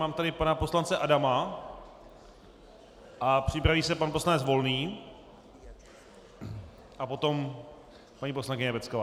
Mám tady pana poslance Adama a připraví se pan poslanec Volný a potom paní poslankyně Pecková.